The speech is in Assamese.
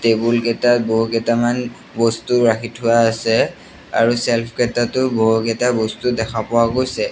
টেবুল কেটাত বহুকেইটামন বস্তু ৰাখি থোৱা আছে আৰু ছেল্ফ কেইটাটো বহুকেইটা বস্তু দেখা পোৱা গৈছে।